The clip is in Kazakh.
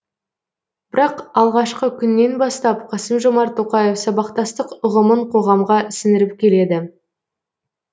бірақ алғашқы күннен бастап қасым жомарт тоқаев сабақтастық ұғымын қоғамға сіңіріп келеді